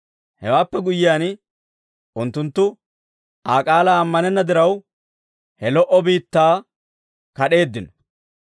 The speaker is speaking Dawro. Hewaappe guyyiyaan, unttunttu Aa k'aalaa ammanenna diraw, he lo"o biittaa kad'eeddino.